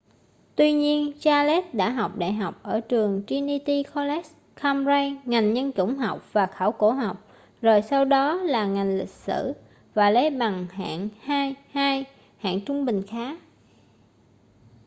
tuy nhiên charles đã học đại học ở trường trinity college cambridge ngành nhân chủng học và khảo cổ học rồi sau đó là ngành lịch sử và lấy bằng hạng 2:2 hạng trung bình khá